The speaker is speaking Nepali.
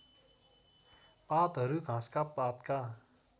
पातहरू घाँसका पातका